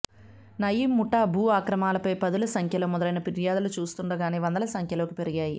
నయీమ్ ముఠా భూ ఆక్రమణలపై పదుల సంఖ్యలో మొదలైన ఫిర్యాదులు చూస్తుండగానే వందల సంఖ్యలోకి పెరిగాయి